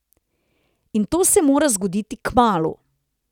In to se mora zgoditi kmalu!